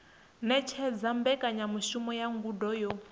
ṅetshedza mbekanyamushumo ya ngudo yo